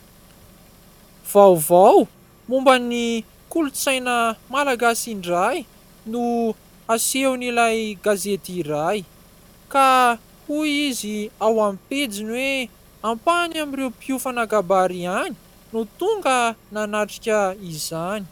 Vaovao momba ny kolontsaina malagasy indray no asehon'ilay gazety iray ka hoy izy ao amin'ny pejiny hoe : "Ampahany amin'ireo mpiofana kabary ihany no tonga nanatrika izany."